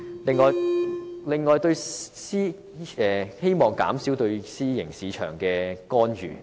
此外，我亦希望政府減少對私營醫療市場的干預。